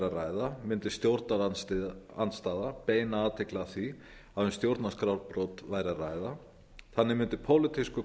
að ræða mundi stjórnarandstaða beina athygli að því að um stjórnarskrárbrot væri að ræða þannig mundi pólitískur